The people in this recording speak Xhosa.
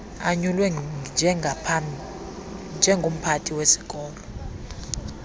anyulwe njengomphathi wesikolo